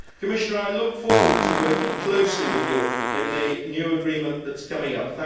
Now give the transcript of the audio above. Commissioner, I look forward to working closely with you in the new agreement that is coming up.